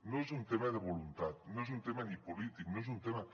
no és un tema de voluntat no és un tema ni polític no és un tema